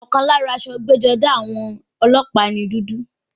Ọ̀kan lára aṣọ ẹgbẹ́-jọdá àwọn ọlọ́pàá ni dúdú.